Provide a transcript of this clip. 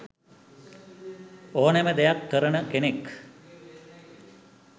ඕනෙම දෙයක් කරන කෙනෙක්.